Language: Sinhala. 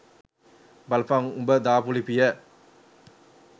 බලපන් උබ දාපු ලිපිය